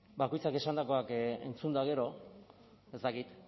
bakoitzak esandakoak entzun eta gero ez dakit